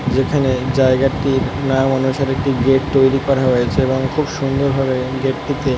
এখানে জায়গাটির নাম অনুসারে একটি গেট তৈরী করা হয়েছে এবং খুব সুন্দর ভাবে এই গেট টিকে ।